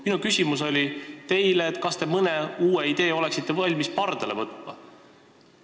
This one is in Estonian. Minu küsimus teile oli see, kas te oleksite valmis mõne uue idee pardale võtma.